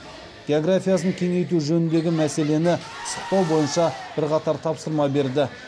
географиясын кеңейту жөніндегі мәселені пысықтау бойынша бірқатар тапсырма берді